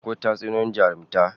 Akwai Tatsuniyoyin jarumta